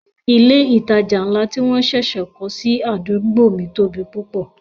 Ilé ìtajà ńlá tí wọ́n ṣẹ̀ṣẹ̀ kọ́ sí àdúgbò mi tóbi púpọ̀